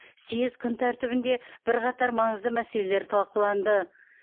съез күн тәртібінде бірқатар маңызды мәселелер талқыланды